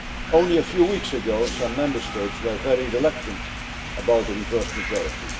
Only a few weeks ago, some Member States were very reluctant about the reversed majority.